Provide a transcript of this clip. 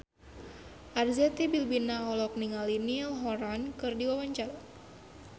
Arzetti Bilbina olohok ningali Niall Horran keur diwawancara